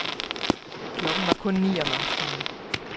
Klokken var kun ni om aftenen.